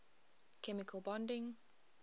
chemical bonding